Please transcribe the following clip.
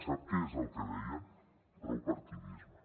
sap què és el que deien prou partidisme